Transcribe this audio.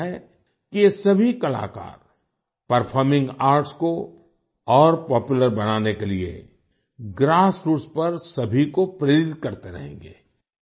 मुझे उम्मीद है कि ये सभी कलाकार परफॉर्मिंग आर्ट्स को और पॉपुलर बनाने के लिए ग्रासरूट्स पर सभी को प्रेरित करते रहेंगे